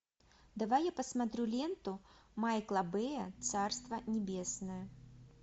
давай я посмотрю ленту майкла бэя царство небесное